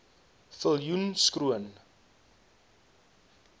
viljoenskroon